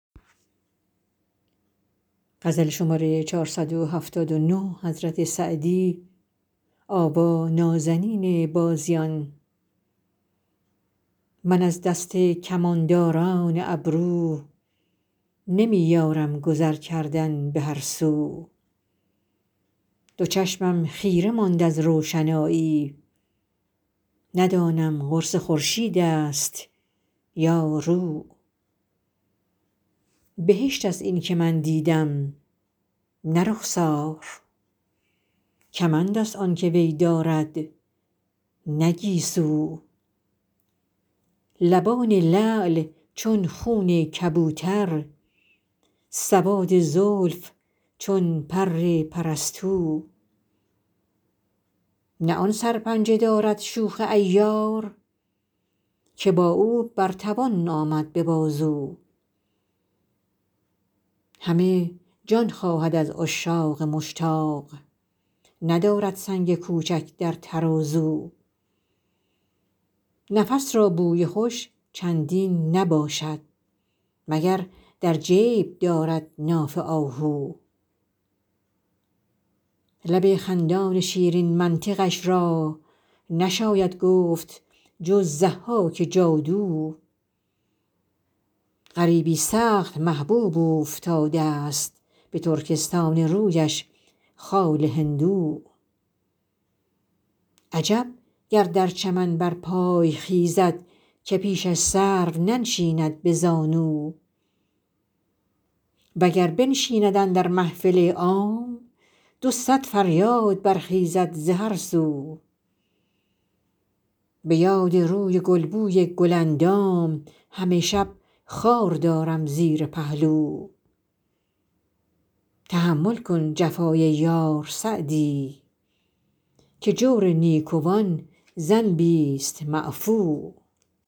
من از دست کمانداران ابرو نمی یارم گذر کردن به هر سو دو چشمم خیره ماند از روشنایی ندانم قرص خورشید است یا رو بهشت است این که من دیدم نه رخسار کمند است آن که وی دارد نه گیسو لبان لعل چون خون کبوتر سواد زلف چون پر پرستو نه آن سرپنجه دارد شوخ عیار که با او بر توان آمد به بازو همه جان خواهد از عشاق مشتاق ندارد سنگ کوچک در ترازو نفس را بوی خوش چندین نباشد مگر در جیب دارد ناف آهو لب خندان شیرین منطقش را نشاید گفت جز ضحاک جادو غریبی سخت محبوب اوفتاده ست به ترکستان رویش خال هندو عجب گر در چمن برپای خیزد که پیشش سرو ننشیند به زانو و گر بنشیند اندر محفل عام دو صد فریاد برخیزد ز هر سو به یاد روی گل بوی گل اندام همه شب خار دارم زیر پهلو تحمل کن جفای یار سعدی که جور نیکوان ذنبیست معفو